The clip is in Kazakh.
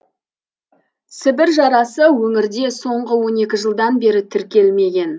сібір жарасы өңірде соңғы он екі жылдан бері тіркелмеген